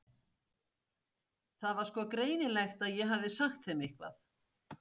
Það var sko greinilegt að ég hefði sagt þeim eitthvað.